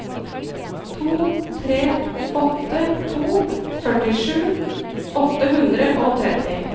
to tre åtte to førtisju åtte hundre og tretti